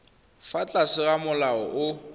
fa tlase ga molao o